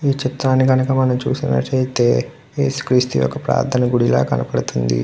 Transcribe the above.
ఈ చిత్రం ని గనక చూసినట్టు అయితే మనం చూసి నటు అయతే ఏసు క్రీస్తు ఒక ప్రత్యనా గుది లా కనపడుతుంది.